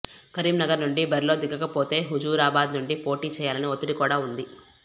కరీంనగర్ నుండి బరిలో దిగకపోతే హుజురాబాద్ నుండి పోటీ చేయాలని ఒత్తిడి కూడా ఉంది